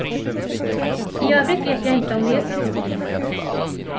I övrigt vet jag inte om det blir så stor skillnad.